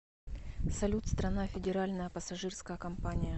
салют страна федеральная пассажирская компания